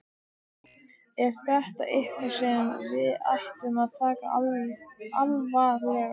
Er það eitthvað sem við ættum að taka alvarlega?